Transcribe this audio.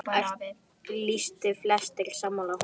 Lýstu flestir sig sammála honum.